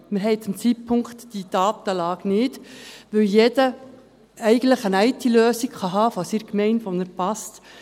Wir haben diese Datenlage gegenwärtig nicht, weil jeder eigentlich eine IT-Lösung von seiner Gemeinde haben kann, die ihm passt.